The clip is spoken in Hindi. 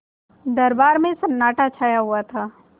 दरबार में सन्नाटा छाया हुआ था